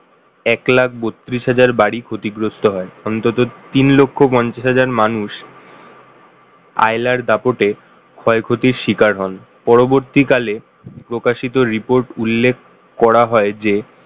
এক লাখ বত্রিশ হাজার বাড়ি ক্ষতিগ্রস্ত হয়। অন্তত তিন লক্ষ পঞ্চাশ হাজার মানুষ আইলার দাপটে ক্ষয়ক্ষতির শিকার হন পরবর্তীকালে প্রকাশিত রিপোর্ট উল্লেখ করা হয় যে